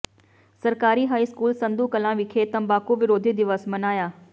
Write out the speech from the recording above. ਸਰਕਾਰੀ high school Sandhu Kalan ਵਿਖੇ ਤੰਬਾਕੂ ਵਿਰੋਧੀ ਦਿਵਸ ਮਨਾਇਆ